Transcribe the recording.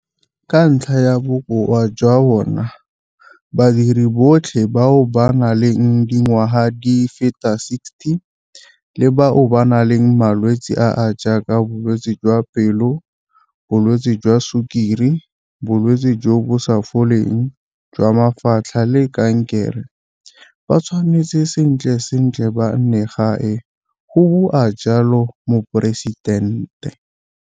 Ka ntlha ya bokoa jwa bona, badiri botlhe bao ba nang le dingwaga di feta 60 le bao ba nang le malwetse a a jaaka bolwetse jwa pelo, bolwetse jwa sukiri, bolwetse jo bo sa foleng jwa mafatlha le kankere ba tshwanetse sentle sentle ba nne kwa gae, go bua jalo Moporesitente.